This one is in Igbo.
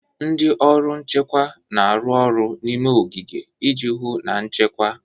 Ndị ọrụ nchekwa na-arụ ọrụ n'ime ogige iji hụ na nchekwa.